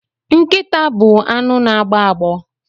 Nkịta bụ anụ na agbọ agbọ